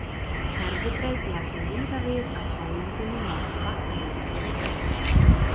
Herðubreið blasir víða við af hálendinu norðan Vatnajökuls.